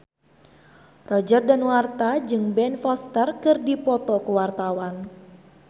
Roger Danuarta jeung Ben Foster keur dipoto ku wartawan